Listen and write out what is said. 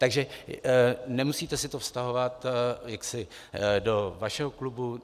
Takže nemusíte si to vztahovat jaksi do vašeho klubu.